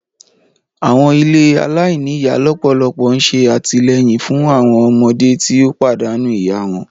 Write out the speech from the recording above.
Àwọn ilé alainíyá lọwọlọwọ n ṣe àtìleyìn fun àwọn ọmọdé ti o pàdánù ìyá wọn.